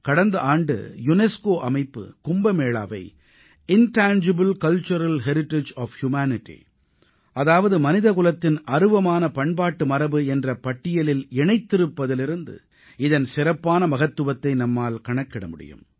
கடந்த ஆண்டு யுனெஸ்கோ அமைப்பு கும்பமேளாவை intangible cultural heritage of humanity அதாவது மனிதகுலத்தின் அருவமான பண்பாட்டு மரபு என்ற பட்டியலில் இணைத்திருப்பதிலிருந்து இதன் சிறப்பான மகத்துவத்தை நம்மால் கணக்கிட முடியும்